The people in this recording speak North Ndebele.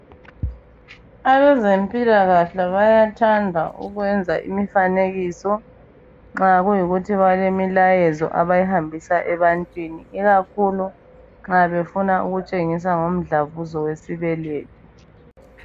Abezempilakahle bayathanda ukwenza imfanekiso, nxa kuyikuthi balemilayezo abayihambisa ebantwini, ikakhulu nxa befuna ukutshengisa ngomdlavuzo wesibeletho.